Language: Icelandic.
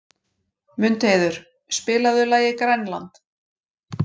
Mundheiður, spilaðu lagið „Grænland“.